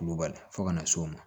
Kulubali fɔ ka na s'o ma